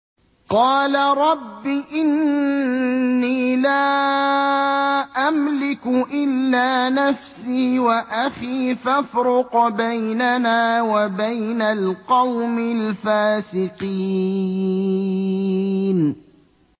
قَالَ رَبِّ إِنِّي لَا أَمْلِكُ إِلَّا نَفْسِي وَأَخِي ۖ فَافْرُقْ بَيْنَنَا وَبَيْنَ الْقَوْمِ الْفَاسِقِينَ